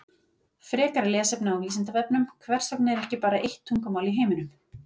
Frekara lesefni á Vísindavefnum Hvers vegna er ekki bara eitt tungumál í heiminum?